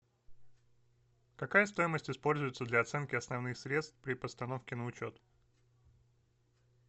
какая стоимость используется для оценки основных средств при постановке на учет